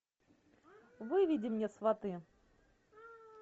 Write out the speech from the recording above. выведи мне сваты